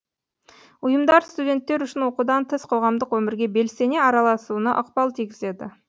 ұйымдар студенттер үшін оқудан тыс қоғамдық өмірге белсене араласуына ықпал тигізеді